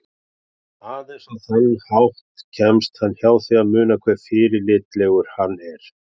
Aðeins á þann hátt kemst hann hjá því að muna hve fyrirlitlegur hann er.